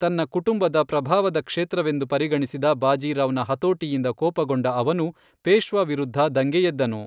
ತನ್ನ ಕುಟುಂಬದ ಪ್ರಭಾವದ ಕ್ಷೇತ್ರವೆಂದು ಪರಿಗಣಿಸಿದ ಬಾಜಿ ರಾವ್ ನ ಹತೋಟಿಯಿಂದ ಕೋಪಗೊಂಡ ಅವನು ಪೇಶ್ವಾ ವಿರುದ್ಧ ದಂಗೆ ಎದ್ದನು.